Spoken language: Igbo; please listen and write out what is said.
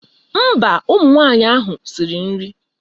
Mba, ụmụnwaanyị ahụ siri nri.